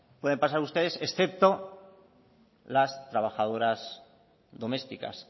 pueden pasar ustedes excepto las trabajadoras domésticas